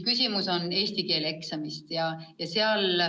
Küsimus on eesti keele eksamis.